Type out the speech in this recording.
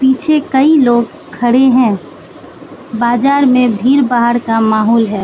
पीछे कई लोग खड़े हैं बाजार में भीड़ भाड़ का माहौल है।